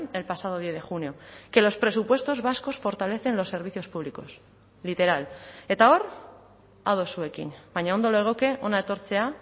el pasado diez de junio que los presupuestos vascos fortalecen los servicios públicos literal eta hor ados zuekin baina ondo legoke hona etortzea